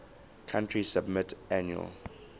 country submit annual